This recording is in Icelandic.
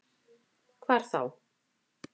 Hvar þá?